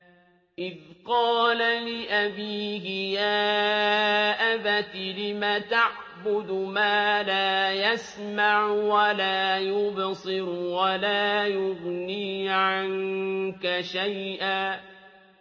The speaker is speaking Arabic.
إِذْ قَالَ لِأَبِيهِ يَا أَبَتِ لِمَ تَعْبُدُ مَا لَا يَسْمَعُ وَلَا يُبْصِرُ وَلَا يُغْنِي عَنكَ شَيْئًا